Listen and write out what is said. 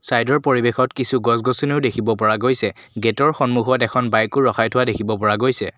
চাইডৰ পৰিৱেশত কিছু গছ-গছনিও দেখিব পৰা গৈছে গেটৰ সন্মুখত এখন বাইকো ৰখাই থোৱা দেখিব পৰা গৈছে।